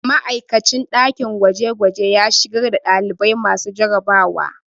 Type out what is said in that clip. Ma'aikacin ɗakin gwajegwaje ya shigar da ɗalibai masu jarabawa